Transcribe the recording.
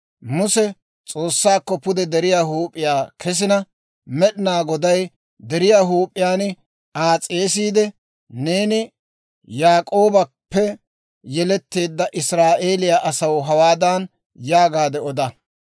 Muse S'oossakko pude deriyaa huup'iyaa kesina, Med'inaa Goday deriyaa huup'iyaan Aa s'eesiide, «Neeni Yaak'oobappe yeletteedda Israa'eeliyaa asaw hawaadan yaagaadde oda;